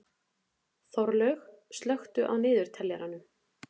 Þorlaug, slökktu á niðurteljaranum.